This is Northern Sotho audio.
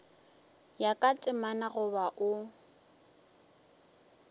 ya ka temana goba o